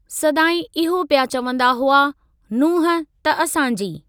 सदाईं इहो पिया चवंदा हुआ "नुंहं त असांजी"।